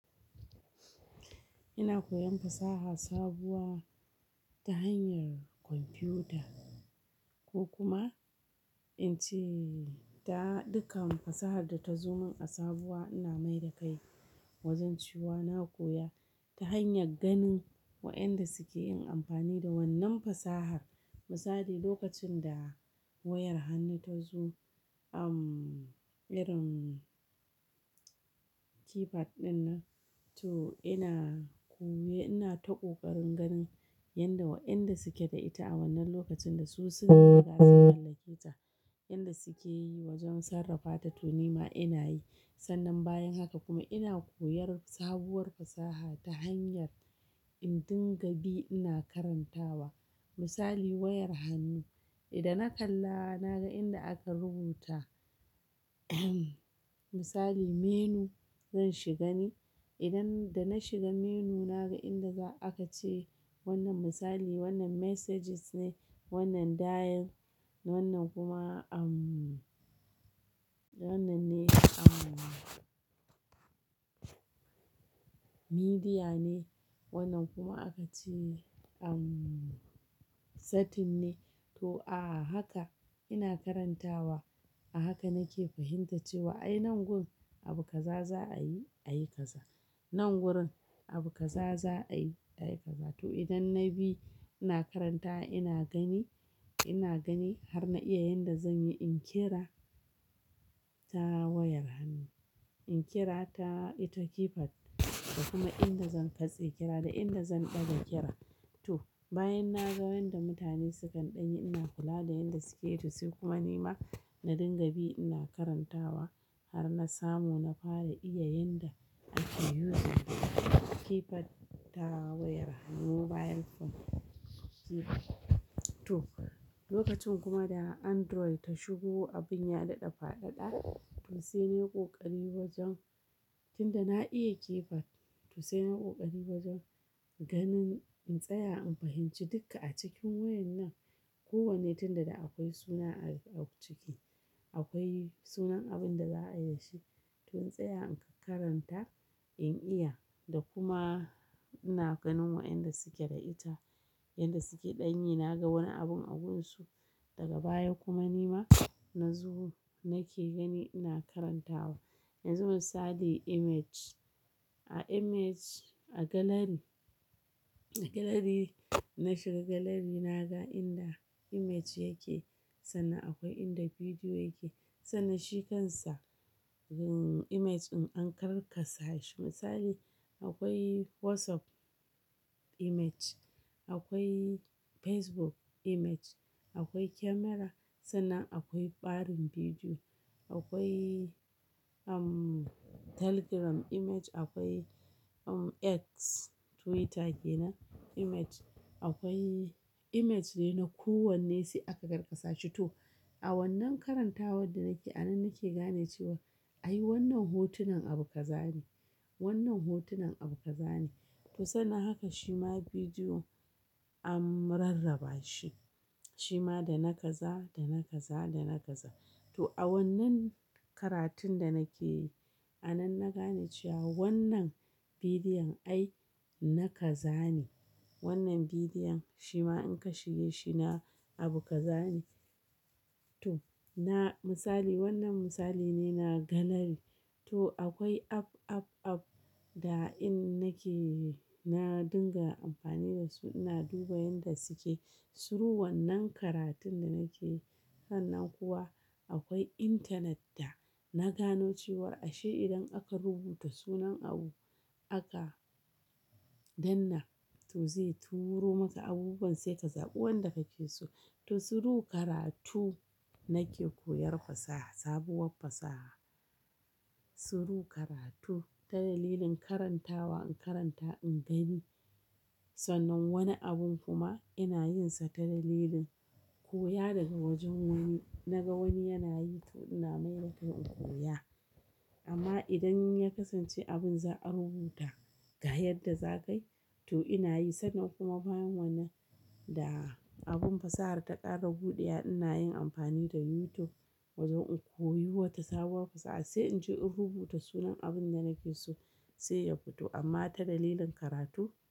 Ina koyan fasaha sabuwa ta hanyar kwamfuta ko kuma in ce ta dukan fasahar da ta zo mun a sabuwa ina mai da kai wajen cewa. Na koya ta hanyar ganin wayanda suke yin amfani da wannan fasahar. Misali lokacin da wayar hannu ta zo, umm, irin keypad ɗin nan, to ina koyi-- ina ta koƙarin ganin yanda wayanda suke da ita a wannan lokacin da su sun riga sun mallake ta. Yanda suke yi wajen sarrafa ta to nima ina yi. Sannan bayan haka kuma ina koyar sabuwar fasaha ta hanyar in dinga bi ina karantawa. Misali wayar hannu, da na kalla na ga inda aka rubuta misali menu zan shiga ne. Idan da na shiga menu na ga inda za aka ce wannan misali wannan messages ne, wannan dial, wannan kuma, umm, wannan ne, umm, media ne. Wannan kuma aka ce, umm, setting ne. To a haka ina karantawa. A haka nake fahimtar cewa ai nan gun abu kaza za a yi, a yi kaza. Nan wurin abu kaza za a yi, a yi kaza. To idan na bi ina karantawa ina gani, ina gani har na iya yanda zan yi in yi kira ta wayar hannu. In kira ta, ita keypad da kuma inda zan katse kira da inda zan ɗaga kira. To bayan na ga yanda mutane sukan ɗanyi ina kula da yanda suke yi to sai kuma nima na dinga bi ina karantawa har na samu na fara iya yanda ake "using" keypad ta wayar hannu mobile phone. To lokacin kuma da Androi ta shigo abin ya daɗa faɗaɗa. To sai na yi ƙoƙari wajen, tunda na iya keypad to sai na yi ƙoƙari wajen ganin in tsaya in fahimci duka a cikin wayan nan. Ko wanne, tunda da akwai suna a ciki. Akwai sunan abin da za a yi da shi. To in tsaya in karanta, in iya da kuma ina ganin wayanda suke da ita yanda suke ɗanyi. Na ga wani abun a gunsu daga baya kuma nima na zo nake gani ina karantawa. Yanzu misali image. A image, a gallery, a gallery, na shiga gallery na ga inda image yake. Sannan akwai inda bidiyo yake. Sannan shi kansa, umm, image in an karkasa shi. Misali akwai WhatsApp image, akwai Facebook image, akwai camera. Sannan akwai barin bidiyo. Akwai, umm, Telegram image. Akwai, umm, X Twitter kenan image. Akwai image ne na ku wanne sai aka garkasa shi. To a wannan karantawar da nake a nan nake gane cewa ai wannan hotunan abu kaza ne. Wannan hotunan abu kaza ne. To sannan haka shima bidiyo an rarraba shi. Shima da na kaza, da na kaza, da na kaza. To a wannan karatun da nake yi a nan na gane cewa wannan bidiyon ai na kaza ne. Wannan bidiyon shima in ka shiga shi na abu kaza ne. To na misali wannan misali ne na gallery. To akwai app, app, app da in nake yi na dinga amfani da su ina duba yanda suke. Turu wannan karatun da nake yi. Sannan kuwa akwai intanet da na gano cewa ashe idan aka rubuta sunan abu aka danna to zai turo maka abubuwan sai ka zaɓi wanda kake so. To suru karatu nake koyar fasaha, sabuwar fasaha. Turu karatu, ta dalilin karantawa in karanta in gani. Sannan wani abun kuma ina yin sa ta dalilin koya daga wajen wani. Na ga wani yana yi to ina mai da kai in koya. Amma idan ya kasance abin za a rubuta ga yadda za ka yi to ina yi. Sannan kuma bayan wannan da abin fasaha ta ƙara buɗewa ina yin amfani da YouTube wajen in koyi wata sabuwar fasaha sai in je in rubuta sunan abin da nake so sai ya fito. Amma ta dalilin karatu.